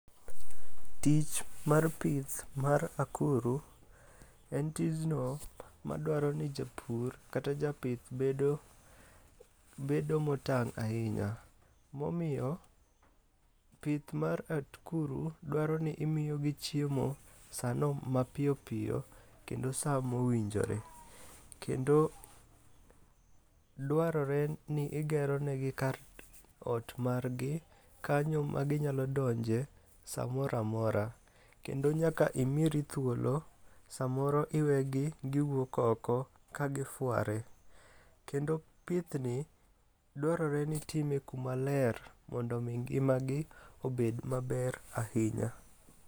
Tich mar pith mar akuru en tijno madwaro ni japur kata japith bedo motang' ahinya, momiyo pith mar akuru dwaro ni imiyogi chiemo sano mapiyopiyo kendo sa mowinjore. Kendo dwarore ni igeronegi kar ot margi kanyo maginyalo donje samoro amora. Kendo nyaka imiri thuolo samoro iwegi giwuok oko kagifware. Kendo pithni dwarore ni itime kuma ler mondo omi ngimagi obed maber ahinya.